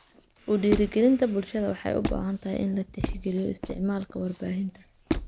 U dhiirrigelinta bulshada waxay u baahan tahay in la tixgeliyo isticmaalka warbaahinta.